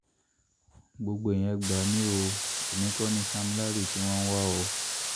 gbogbo èèyàn ẹ̀ gbà mí o èmi kọ́ ni sam larry tí wọ́n ń wá o